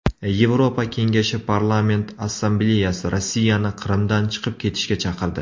Yevropa Kengashi Parlament assambleyasi Rossiyani Qrimdan chiqib ketishga chaqirdi.